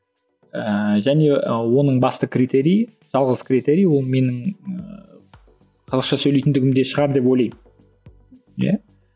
ііі және і оның басты критериі жалғыз критерий ол менің ыыы қазақша сөйлейтіндігімде шығар деп ойлаймын иә